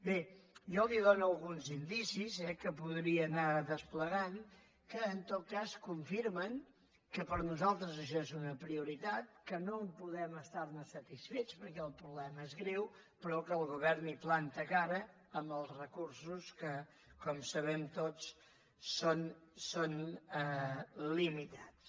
bé jo li dono alguns indicis eh que podria anar desplegant que en tot cas confirmen que per nosaltres això és una prioritat que no podem estar ne satisfets perquè el problema és greu però que el govern hi planta cara amb els recursos que com sabem tots són limitats